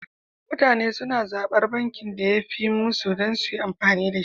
Mutane suna zaɓar bankin da yafi yi musu dan suyi amfani dashi